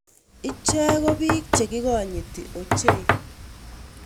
Chie ko biik che kikonyiti ochei.